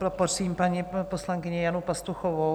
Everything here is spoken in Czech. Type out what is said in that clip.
Poprosím paní poslankyni Janu Pastuchovou.